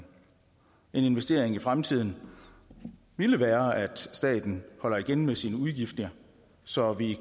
en investering i fremtiden ville være at staten holdt igen med sine udgifter så vi